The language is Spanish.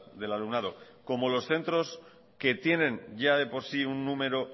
del alumnado como los centros que tienen ya de por sí un número